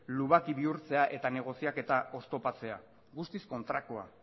lubaki bihurtzea eta negoziaketa oztopatzea guztiz kontrakoa